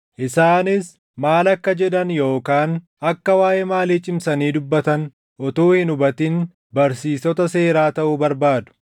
Isaanis maal akka jedhan yookaan akka waaʼee maalii cimsanii dubbatan utuu hin hubatin barsiistota seeraa taʼuu barbaadu.